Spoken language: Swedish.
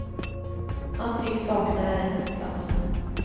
Han tycks sakna ärende på platsen.